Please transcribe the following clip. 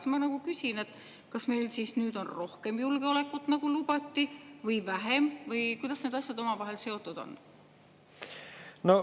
Siis ma küsin: kas meil siis nüüd on rohkem julgeolekut, nagu lubati, või vähem või kuidas need asjad omavahel seotud on?